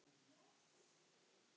Allar of langar, sagði Jónas.